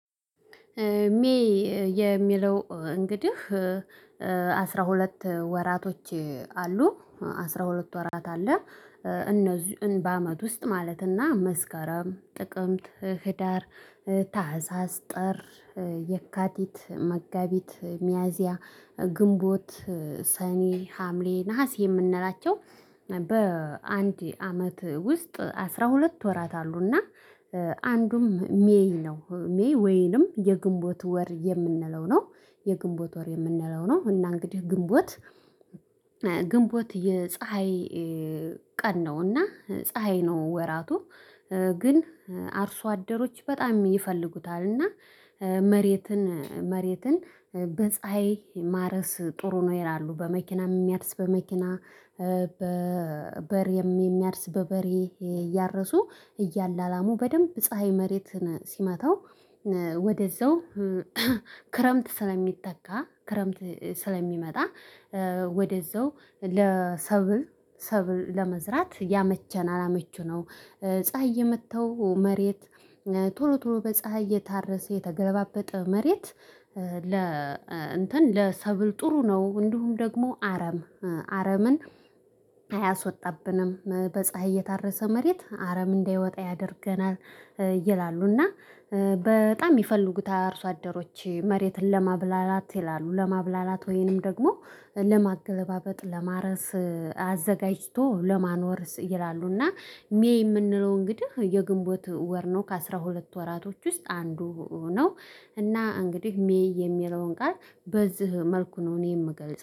ሜይ የሚለው እንግዲህ አስራ ሁለት ወራቶች አሉ አስራ ሁለት ወራት አለ። እነዚህን በአመት ውስጥ ማለትና መስከረም ጥቅምት ህዳር ታህሳስ ጥር የካቲት መጋቢት ሚያዚያ ግንቦት ሰኔ ሀምሌ ነሀሴ የምንላቸው በአንድ አመት ውስጥ አስራ ሁለት ወራት አሉና አንዱም ሜይ ነው ሜይ ወይንም የግንቦት ወር የምንለው ነው። የግንቦት ወር የምንለው ነው። እና እንግዲህ ግንቦት የፀሀይ ቀን ነውና ፀሀይ ነው። ወራቱ ግን አርሶ አደሮች በጣም ይፈልጉታል። እና መሬትን መሬትን በፀሀይ ማረስ ጥሩ ነው ይላሉ። በመኪናም የሚያርስ በመኪና በበሬ የሚያርስ በበሬ እያረሱ እያላላሙ በደንብ ፀሀይ መሬትን ሲመታው። ወደዛው ክረምት ስለሚተካ ክረምት ስለሚመጣ ወደዛው ለሰብል ለመዝራት ያመቸናል አመቺ ነው። ፀሀይ የመታው መሬት ቶሎ ቶሎ በፀሀይ እየታረሰ የተገለባበጠ መሬት ለ እንትን ለሰብል ጥሩ ነው። እንዲሁ ደግሞ አረም አረምን አያስወጣብንም በፀሀይ የታረሰ መሬት አረም እንዳይወጣ ያደርገናል። ይላሉ እና በጣም ይፈልጉታል አርሶ አደሮች መሬትን ለማብላላት ይላሉ። ለማብላላት ወይንም ደግሞ ለማገለባበጥ ለማረስ አዘጋጅቶ ለማኖር ይላሉና። ሜይ የምንለው እንግዲህ የግንቦት ወር ነው ከአሥራ ሁለት ወራቶች ውስጥ አንዱ ነው። እና እንግዲህ ሜይ የሚለውን ቃል በዚህ መልኩ ነው እኔ የምገልጸው